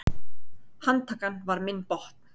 Handtakan var minn botn.